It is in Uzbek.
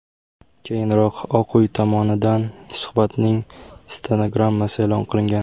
Keyinroq Oq uy tomonidan suhbatning stenogrammasi e’lon qilingan.